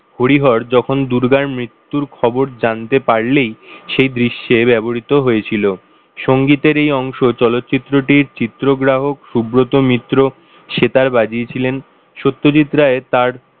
হরিহর যখন দুর্গার মৃত্যুর খবর জানতে পারলেই সেই দৃশ্যে ব্যবহৃত হয়েছিল সংগীতের এই অংশ চলচ্চিত্রটির চিত্রগ্রাহক সুব্রত মিত্র সেতার বাজিয়েছিলেন সত্যজিৎ রায় তার,